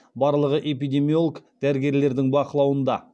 барлығы эпидемиолог дәрігерлердің бақылауында